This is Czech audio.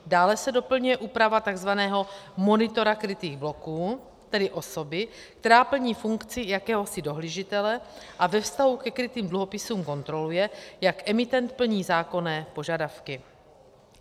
Dále se doplňuje úprava tzv. monitora krytých bloků, tedy osoby, která plní funkci jakéhosi dohlížitele a ve vztahu ke krytým dluhopisům kontroluje, jak emitent plní zákonné požadavky.